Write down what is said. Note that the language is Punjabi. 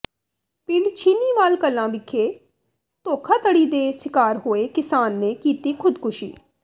ਪਿੰਡ ਛੀਨੀਵਾਲ ਕਲਾਂ ਵਿਖੇ ਧੋਖਾਧੜੀ ਦੇ ਸਿਕਾਰ ਹੋਏ ਕਿਸਾਨ ਨੇ ਕੀਤੀ ਖੁਦਕੁਸ਼ੀ